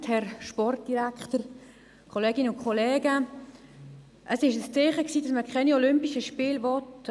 Es war ein Zeichen vonseiten mehrerer Kantone, dass man keine olympischen Spiele will.